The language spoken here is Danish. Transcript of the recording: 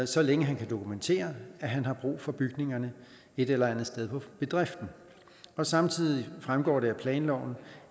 så længe han kan dokumentere at han har brug for bygningerne et eller andet sted på bedriften samtidig fremgår det af planloven